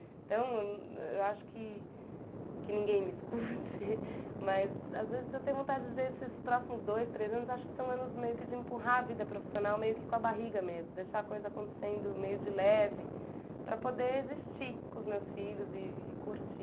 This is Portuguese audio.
Então, eu acho que que ninguém me escute, mas às vezes eu tenho vontade de esses próximos dois, três anos, acho que são anos meio que de empurrar a vida profissional meio que com a barriga mesmo, deixar a coisa acontecendo meio de leve para poder existir com os meus filhos e curtir.